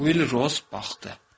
Uy Rus baxdı.